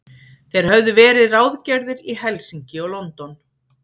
Þeir höfðu verið ráðgerðir í Helsinki og London.